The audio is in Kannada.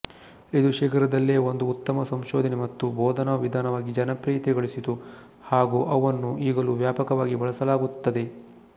ಇದು ಶೀಘ್ರದಲ್ಲೇ ಒಂದು ಉತ್ತಮ ಸಂಶೋಧನೆ ಮತ್ತು ಬೋಧನಾ ವಿಧಾನವಾಗಿ ಜನಪ್ರಿಯತೆ ಗಳಿಸಿತು ಹಾಗೂ ಅವನ್ನು ಈಗಲೂ ವ್ಯಾಪಕವಾಗಿ ಬಳಸಲಾಗುತ್ತದೆ